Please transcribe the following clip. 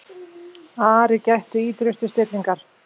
Ari gætti ýtrustu stillingar.